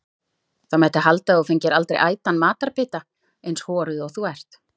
Það mætti halda að þú fengir aldrei ætan matarbita, eins horuð og þú ert.